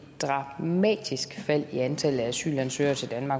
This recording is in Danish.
dramatisk fald i antallet af asylansøgere til danmark